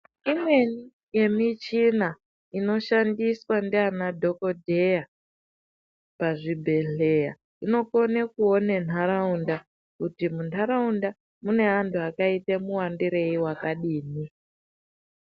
Imweni yemichina inoshandiswa ndianadhogodheya pazvibhedhleya. Inokone kuone ntaraunda kuti muntaraunda mune antu akaite muwandirei vakadini.